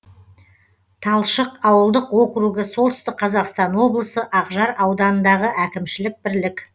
талшық ауылдық округі солтүстік қазақстан облысы ақжар ауданындағы әкімшілік бірлік